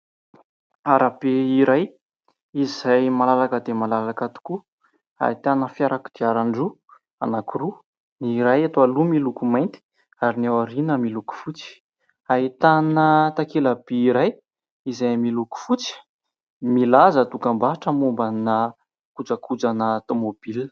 Arabe iray, izay malalaka dia malalaka tokoa, ahitana kodiaran-droa anankiroa : ny iray eto aloha miloko mainty ary ny iray ao aoriana miloko fotsy. Ahitana takela-by iray izay miloko fotsy milaza dokam-barotra momba-na kojakoja-na tômôbila.